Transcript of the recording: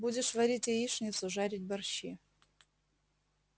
будешь варить яичницу жарить борщи